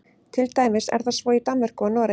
til dæmis er það svo í danmörku og noregi